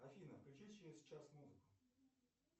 афина включи через час музыку